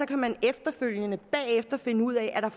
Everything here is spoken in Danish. kan man efterfølgende finde ud af om